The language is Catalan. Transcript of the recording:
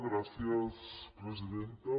gràcies presidenta